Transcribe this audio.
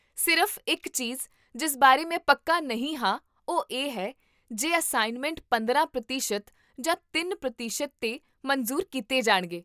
ਸਿਰਫ਼ ਇਕ ਚੀਜ਼ ਜਿਸ ਬਾਰੇ ਮੈਂ ਪੱਕਾ ਨਹੀਂ ਹਾਂ ਉਹ ਹੈ ਕਿ ਜੇ ਅਸਾਈਨਮੈਂਟ ਪੰਦਰਾਂ ਪ੍ਰਤੀਸ਼ਤ ਜਾਂ ਤਿੰਨ ਪ੍ਰਤੀਸ਼ਤ ਤੇ ਮਨਜ਼ੂਰ ਕੀਤੇ ਜਾਣਗੇ